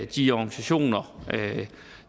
de organisationer